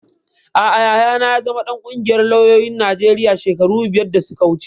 Aa, Yayana ya zama ɗan ƙungiyar lauyoyin Najeriya shekaru biyar da suka wuce